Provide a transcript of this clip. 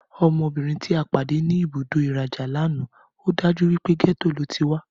Ọmọbìnrin ti a pàdé ní ibùdó ìrajà lana yen, ọ́dájú wípé gẹ́tò lo tí wá